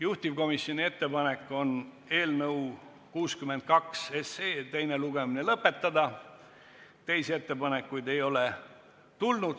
Juhtivkomisjoni ettepanek on eelnõu 62 teine lugemine lõpetada, teisi ettepanekuid ei ole tulnud.